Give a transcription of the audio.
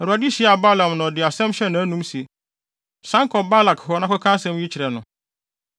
Awurade hyiaa Balaam na ɔde asɛm hyɛɛ nʼanom se, “San kɔ Balak hɔ na kɔka asɛm yi kyerɛ no.”